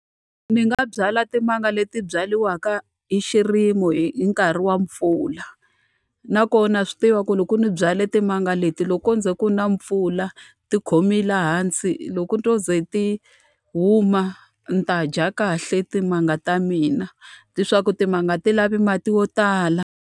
Ni nga byala timanga leti byariwaka hi xirimo hi nkarhi wa mpfula. Nakona swi tiva ku loko ni byale timanga leti loko ko ze ku na mpfula ti khome laha hansi, loko to ze ti huma ni ta dya kahle timanga ta mina. Leswaku timanga ti lavi mati yo tala.